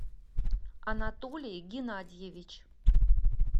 анатолий геннадьевич